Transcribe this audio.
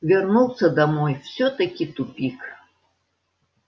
вернулся домой всё-таки тупик